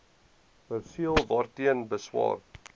perseel waarteen beswaar